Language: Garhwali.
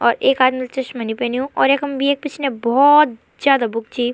और एक आदमिल चश्मा नी पैन्यु और यखम येक पिछने बहौत जादा बुक छी।